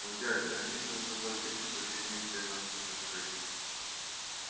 но дядя они же согласились починить для нас этот крейсер